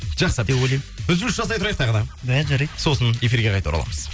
жақсы деп ойлаймын үзіліс жасай тұрайық тағы да ә жарайды сосын эфирге қайта ораламыз